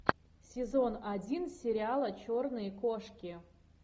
сезон один сериала черные кошки